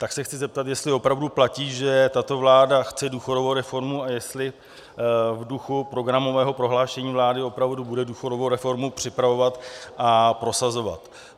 Tak se chci zeptat, jestli opravdu platí, že tato vláda chce důchodovou reformu a jestli v duchu programového prohlášení vlády opravdu bude důchodovou reformu připravovat a prosazovat.